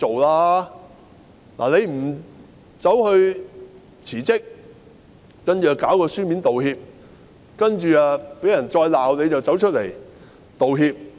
"林鄭"沒有辭職，只是發出書面道歉，然後被人責罵後才出來道歉。